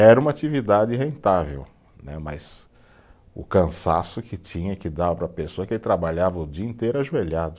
Era uma atividade rentável né, mas o cansaço que tinha que dar para a pessoa que trabalhava o dia inteiro ajoelhado.